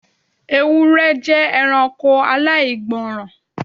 Ewúrẹ jẹ ẹranko aláìgbọràn